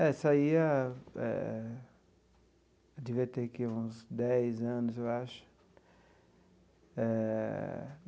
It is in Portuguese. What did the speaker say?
É, saía, eh devia ter o que uns dez anos, eu acho eh.